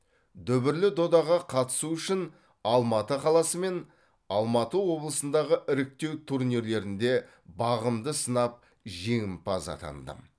дүбірлі додаға қатысу үшін алматы қаласы мен алматы облысындағы іріктеу турнирлерінде бағымды сынап жеңімпаз атандым